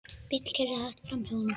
Bíll keyrði hægt framhjá honum.